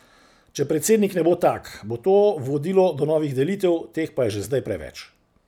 Če predsednik ne bo tak, bo to vodilo do novih delitev, teh pa je že zdaj preveč.